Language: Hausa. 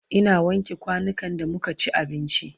Ina wanke kwanukan da muka ci abinci